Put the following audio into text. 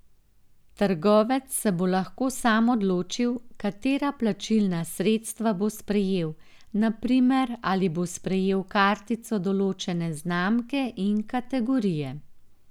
Trgovec se bo lahko sam odločil, katera plačilna sredstva bo sprejel, na primer ali bo sprejel kartico določene znamke in kategorije.